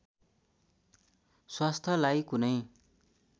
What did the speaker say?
स्वास्थ्यलाई कुनै